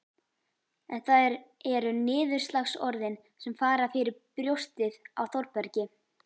En það eru niðurlagsorðin sem fara fyrir brjóstið á Þórbergi